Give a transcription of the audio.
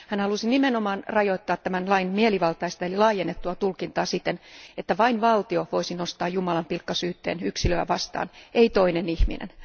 Hän halusi nimenomaan rajoittaa tämän lain mielivaltaista eli laajennettua tulkintaa siten, että vain valtio voisi nostaa jumalanpilkkasyytteen yksilöä vastaan, ei toinen ihminen.